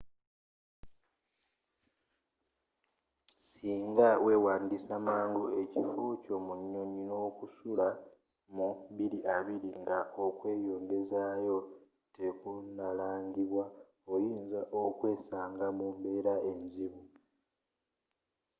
singa weewandisa mangu ekifo kyo mu nyonyi n'okusula mu 2020 nga okwongezaayo tekunnalangibwa oyinza okwesanga mu mbeera enzibu